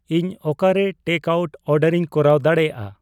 ᱤᱧ ᱚᱠᱟᱨᱮ ᱴᱮᱠᱼᱟᱣᱩᱴ ᱚᱰᱟᱨᱤᱧ ᱠᱚᱨᱟᱣ ᱫᱟᱲᱮᱭᱟᱜᱼᱟ